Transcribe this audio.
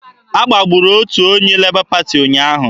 A gbagburu onye otu Lebọ Pati ụnyaahụ.